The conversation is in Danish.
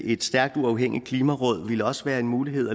i et stærkt uafhængigt klimaråd ville også være en mulighed